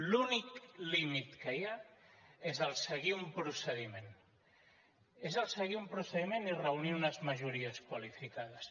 l’únic límit que hi ha és seguir un procediment és seguir un procediment i reunir unes majories qualificades